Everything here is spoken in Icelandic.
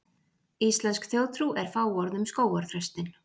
íslensk þjóðtrú er fáorð um skógarþröstinn